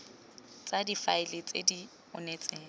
tsa difaele tse di onetseng